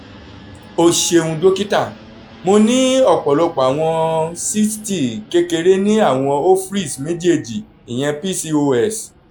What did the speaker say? o ṣeun dokita mo ni ọpọlọpọ awọn cyste kekere ni awọn [c] ovaries mejeeji pcos